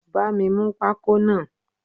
Bami mú pako náà!